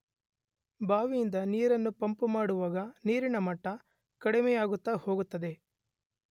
ಬಾವಿಯಿಂದ ನೀರನ್ನು ಪಂಪು ಮಾಡಿದಾಗ ನೀರಿನ ಮಟ್ಟ ಕಡಿಮೆಯಾಗುತ್ತ ಹೋಗುತ್ತದೆ.